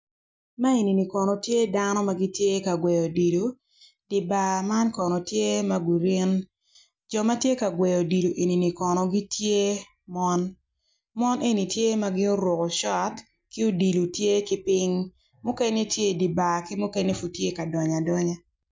Man eni tye dano ma gitye ka gweyo odilo dano man kono tye ma gurin jo ma gitye ka gweyo odilo ni kono tye mon mon eni tye ma guruko shot ki odilo tye piny